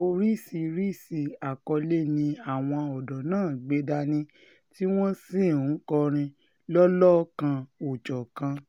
oríṣiríṣii àkọlé ni àwọn ọ̀dọ́ náà gbé dání tí wọ́n sì ń kọrin lọ́lọ́kan-ò-jọ̀kan